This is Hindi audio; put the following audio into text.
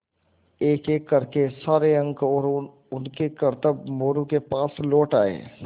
एकएक कर के सारे अंक और उनके करतब मोरू के पास लौट आये